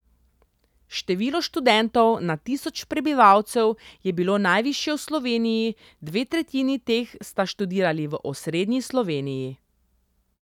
Število študentov na tisoč prebivalcev je bilo najvišje v Sloveniji, dve tretjini teh sta študirali v osrednji Sloveniji.